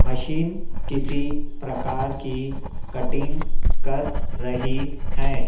Machine किसी प्रकार की कटिंग कर रही है।